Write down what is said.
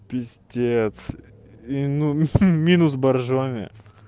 пиздец и ну минус боржоми